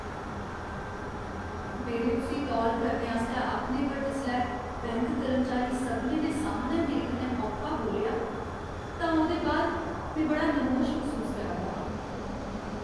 मेरे उस्सी तौल करने आस्तै आखने पर जिसलै बैंक कर्मचारी सभनें दे सामनै मेरे कन्नै औखा बोल्लेआ तां ओह्दे बाद में बड़ा नमोश मसूस करा दा हा।